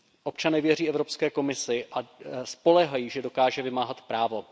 Občané věří Evropské komisi a spoléhají, že dokáže vymáhat právo.